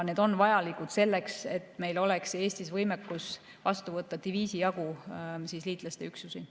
Need on vajalikud selleks, et meil oleks Eestis võimekus vastu võtta diviisijagu liitlaste üksusi.